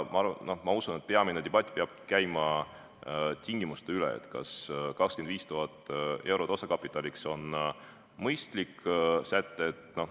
Ma usun, et peamine debatt peab käima tingimuste üle, kas 25 000 eurot osakapitaliks on mõistlik säte.